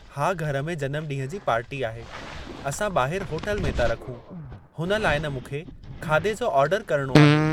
हा घर में जनम ॾींहुं जी पार्टी आहे, असां ॿाहिरि होटल में था रखूं, हुन लाइ न मूंखे खाधे जो ओर्डरु करणो आहे।